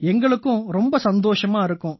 எங்களுக்கும் ரொம்ப சந்தோஷமா இருக்கும்